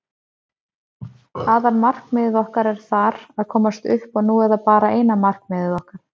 Aðalmarkmiðið okkar er þar, að komast upp og nú er það bara eina markmiðið okkar.